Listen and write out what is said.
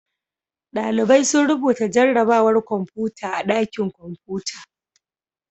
Ɗalibai sun rubuta jarrabawar kwamfuta a ɗakin kwamfuta.